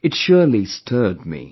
It surely stirred me